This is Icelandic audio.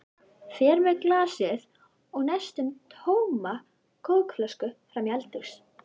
Fer með glasið og næstum tóma kókflöskuna fram í eldhús.